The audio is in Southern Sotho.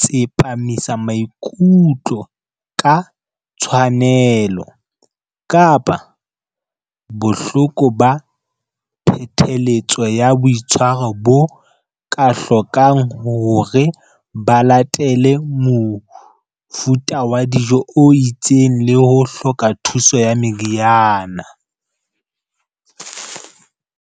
Tsepamisa maikutlo ka Tshwanelo kapa Bohloko ba Phetheletso ya Boitshwaro bo ka hlokang hore ba latele mofuta wa dijo o itseng le ho hloka thuso ya meriana.